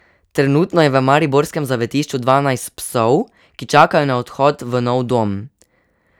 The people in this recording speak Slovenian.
Trenutno je v mariborskem zavetišču dvanajst psov, ki čakajo na odhod v nov dom.